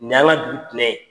Nin y'a ŋa dugu tinɛ ye.